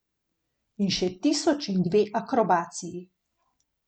In še tisoč in dve akrobaciji.